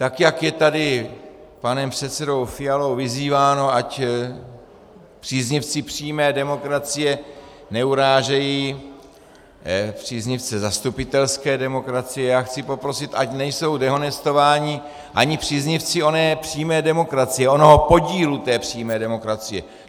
Tak jak je tady panem předsedou Fialou vyzýváno, ať příznivci přímé demokracie neurážejí příznivce zastupitelské demokracie, já chci poprosit, ať nejsou dehonestováni ani příznivci oné přímé demokracie, onoho podílu té přímé demokracie.